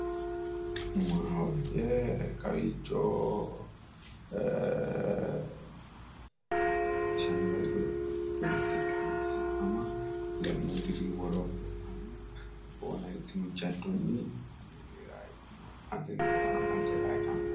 maahoye kawiicho leellishshanno garinni godo'lete giddo mitte ikkitinoti sidaama lemmuu diri iillitino jaddonni anga amadde ra yitanni no.